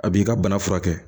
A b'i ka bana furakɛ